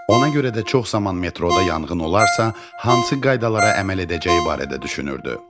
Ona görə də çox zaman metroda yanğın olarsa, hansı qaydalara əməl edəcəyi barədə düşünürdü.